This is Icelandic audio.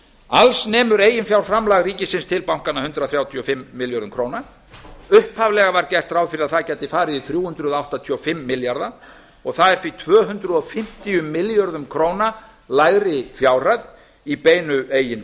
alls nemur eiginfjárframlag ríkisins til bankanna hundrað þrjátíu og fimm milljörðum króna upphaflega var gert ráð fyrir að það gæti farið í þrjú hundruð áttatíu og fimm milljarða og það er því tvö hundruð fimmtíu milljörðum króna lægri fjárhæð í beinu eigin